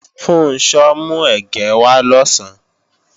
Funṣọ́ mú ẹ̀gẹ́ wá lọ̀sán